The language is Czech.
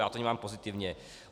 Já to vnímám pozitivně.